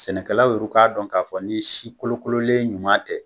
Sɛnɛkɛlaw yɛrɛ k'a dɔn k'a fɔ ni ye si kolokololen ɲuman tɛ